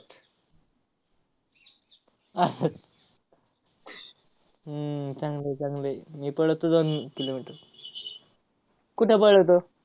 आह हम्म चांगलं आहे, चांगलं आहे. मी पळतो दोन kilometer. कुठं पळतो?